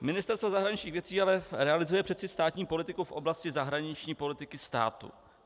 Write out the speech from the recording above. Ministerstvo zahraničních věcí ale realizuje přece státní politiku v oblasti zahraniční politiky státu.